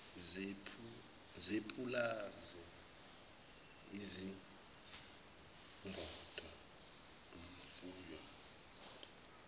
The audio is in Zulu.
zepulazi izingodo imfuyo